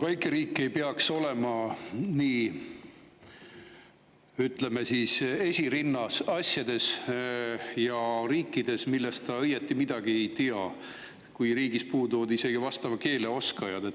Väike riik ei peaks olema nii, ütleme siis, esirinnas asjade puhul ja riikides, millest ta õieti midagi ei tea, kui riigis puuduvad isegi vastava keele oskajad.